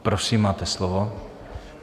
Prosím, máte slovo.